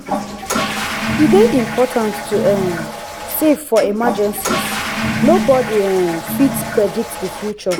e dey important to um save for emergencies nobodi um fit predict the future.